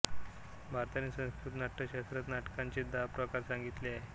भरताने संस्कृत नाट्यशास्त्रात नाटकांचे दहा प्रकार सांगितले आहेत